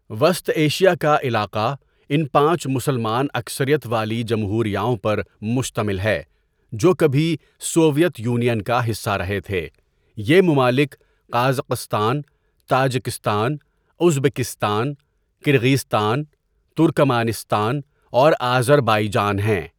وسط ایشیا کا علاقہ ان پانچ مسلمان اکثریت والی جمہوریاؤں پر مشتمل ہے جو کبھی سوویت یونین کا حصہ رہے تھے یہ ممالک Kazakhstan, Tajikistan, Uzbekistan, Kyrgyzstan, Turkmenistan اور آذربائیجان ہیں.